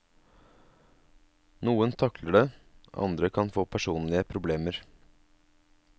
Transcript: Noen takler det, andre kan få personlige problemer.